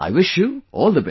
I wish you all the best